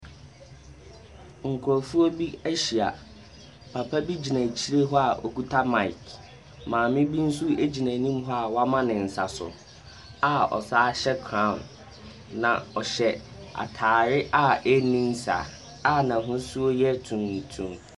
Nkorɔfoɔ bi ahyia. Papa bi gyina akyire hɔ a ɔkuta mic. Maame bi nso egyina anim hɔ a woama ne nsa so a ɔsan hyɛ crown. Na ɔhyɛ ataare a ɛrenni nsa a n'hosuo ɛyɛ tuntum.